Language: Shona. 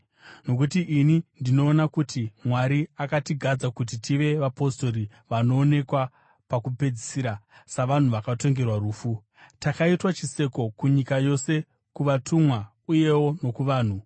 Nokuti ini ndinoona kuti Mwari akatigadza kuti tive vapostori vanoonekwa pakupedzisira, savanhu vakatongerwa rufu. Takaitwa chiseko kunyika yose, kuvatumwa uyewo nokuvanhu.